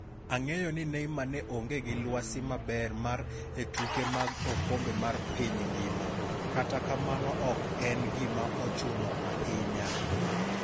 Ang'eyo ni Neymar ne onge gi lwasi maber mar e tuke mag okombe mar piny ngima, kata kamano ok en gima ochuno ahinya.